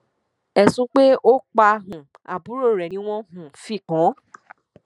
ẹsùn pé ó pa um àbúrò rẹ ni wọn um fi kàn án